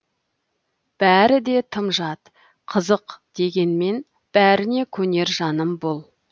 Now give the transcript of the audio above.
бәрі де тым жат қызық дегенмен бәріне көнер жаным бұл